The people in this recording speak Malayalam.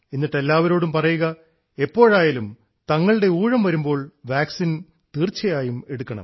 എന്നിട്ട് എല്ലാവരോടും പറയുക എപ്പോഴായാലും തങ്ങളുടെ ഊഴം വരുമ്പോൾ വാക്സിൻ തീർച്ചയായും എടുക്കണം